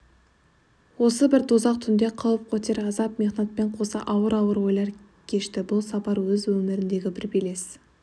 осы бір дозақ түнде қауіп-қатер азап-мехнатпен қоса ауыр-ауыр ойлар кешті бұл сапар өз өміріндегі бір белес